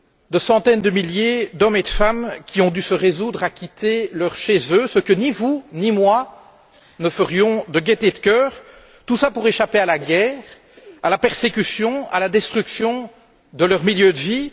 De centaines de milliers d'hommes et de femmes qui ont dû se résoudre à partir de chez eux, ce que ni vous ni moi ne ferions de gaîté de cœur, pour échapper à la guerre, à la persécution, à la destruction de leur milieu de vie?